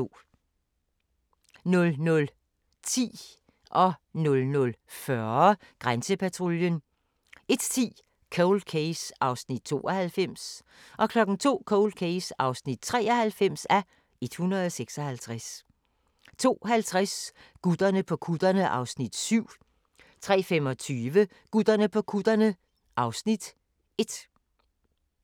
00:10: Grænsepatruljen 00:40: Grænsepatruljen 01:10: Cold Case (92:156) 02:00: Cold Case (93:156) 02:50: Gutterne på kutterne (Afs. 7) 03:25: Gutterne på kutterne (Afs. 1)